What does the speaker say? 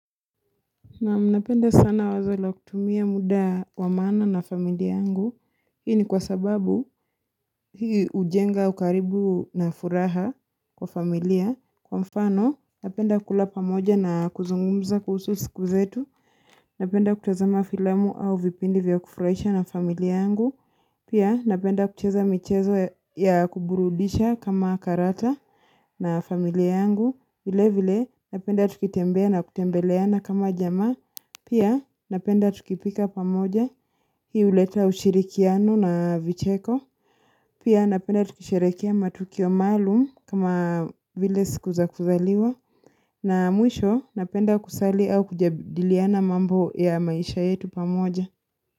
Naam napenda sana wazo la kutumia muda wa maana na familia yangu. Hii ni kwa sababu hii hujenga ukaribu na furaha kwa familia. Kwa mfano, napenda kula pamoja na kuzungumza kuhusu siku zetu. Napenda kutazama filamu au vipindi vya kufurahisha na familia yangu. Pia napenda kucheza michezo ya kuburudisha kama karata na familia yangu. Vile vile napenda tukitembea na kutembeleana kama jamaa. Pia napenda tukipika pamoja hii huleta ushirikiano na vicheko. Pia napenda tukisherehekea matukio maalum kama vile siku za kuzaliwa. Na mwisho napenda kusali au kujadiliana mambo ya maisha yetu pamoja.